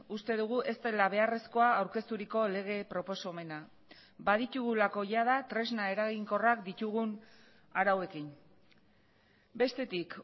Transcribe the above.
uste dugu ez dela beharrezkoa aurkezturiko lege proposamena baditugulako jada tresna eraginkorrak ditugun arauekin bestetik